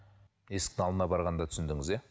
есіктің алдына барғанда түсіндіңіз иә